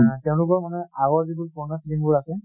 এহ তেওঁলোকৰ মানে আগৰ যিবোৰ পুৰণা ফিলিম বোৰ আছে,